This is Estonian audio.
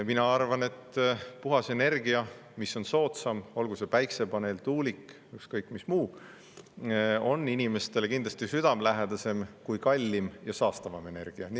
Mina arvan, et puhas energia, mis on ka soodsam, olgu see päikesepaneel, tuulik, ükskõik, mis muu, on inimestele kindlasti südamelähedasem kui kallim ja saastavam energia.